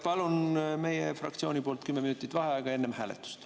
Palun meie fraktsiooni nimel kümme minutit vaheaega enne hääletust.